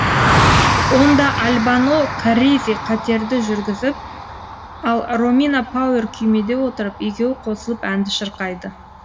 онда альбано карризи катерді жүргізіп ал ромина пауэр күймеде отырып екеуі қосылып әнді шырқайды